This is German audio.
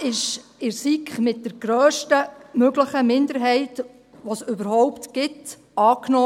Dieser wurde in der SiK mit der grösstmöglichen Minderheit, die es überhaupt gibt, angenommen.